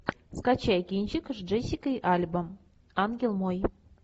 скачай кинчик с джессикой альба ангел мой